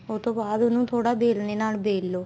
ਉਸ ਤੋਂ ਬਾਅਦ ਉਹਨੂੰ ਥੋੜਾ ਵੇਲਣੇ ਨਾਲ ਵੇਲ ਲੋ